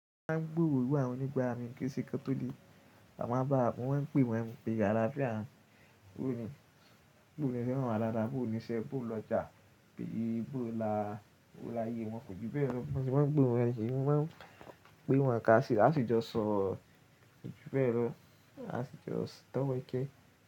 Mo máa ń gbúro àwọn nígba mi kí n ṣe kán tó lè, à máa báa bọ̀ wọ́n pé wọ́n ní pé àláfíà, bó ni, bó ni ẹ fẹ́ràn ara, bó ni iṣẹ́, bó lọjà, bí i bó la, ó láyé wọn kò jù bẹ́ẹ̀ lọ. Wọn sì máa ń gbohun wọn, wọ́n sì máa ń pé wọn ká sì, a sì jọ sọ jù bẹ́ẹ̀ lọ, a sì jọ tọ́wọ́ ikẹ.